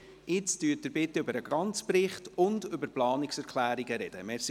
Jetzt wollen Sie bitte über den ganzen Bericht und über die Planungserklärungen sprechen.